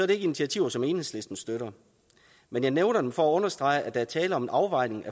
det ikke initiativer som enhedslisten støtter men jeg nævner dem for at understrege at der er tale om en afvejning